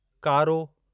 कारो